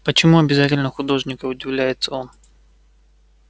почему обязательно художника удивляется он